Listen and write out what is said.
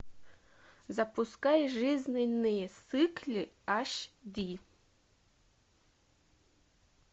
запускай жизненные циклы аш ди